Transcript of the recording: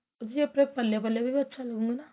ਵੀ ਆਪਣੇਂ ਪੱਲੇ ਪੱਲੇ ਪੇ ਵੀ ਅੱਚਾ ਲੱਗੂਗਾਂ